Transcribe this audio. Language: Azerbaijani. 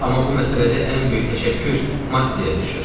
Amma bu məsələdə ən böyük təşəkkür Mattiyə düşür.